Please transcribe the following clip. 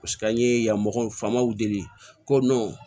an ye yan mɔgɔw faamaw deli ko